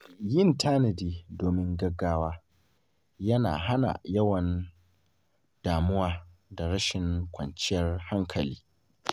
Yin tanadi domin gaugawa yana hana yawan damuwa da rashin kwanciyar hankali.